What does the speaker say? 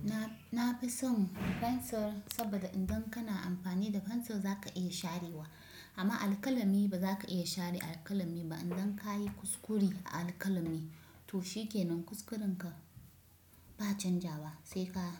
Na, na fi son fensir saboda idan kana amfani da fensir za ka iya sharewa amma alkalami ba za ka iya share alkalami ba. Idan ka yi kuskure a alkalami to shike nan, kuskurenka ba canzawa sai ka